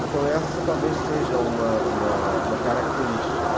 Então essa talvez seja uma uma característica.